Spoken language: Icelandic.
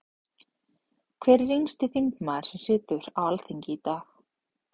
Hver er yngsti þingmaður sem situr á Alþingi í dag?